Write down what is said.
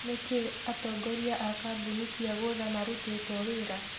Nĩkĩ atongoria a kambuni cia gũtha marutĩtwo wira?